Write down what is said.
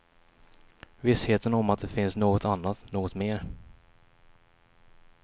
Vissheten om att det finns något annat, något mer.